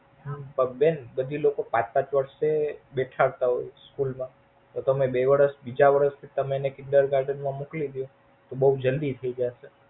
પણ બેન તમે લોકો પાંચ પાંચ વર્ષે બેઠાથાવ તા હોય School માં તો તમે બે વર્ષ બીજા વર્ષ Kinder garden માં મોકલી દો બોવ જલ્દી થઈ જશે.